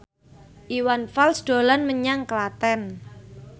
Iwan Fals dolan menyang Klaten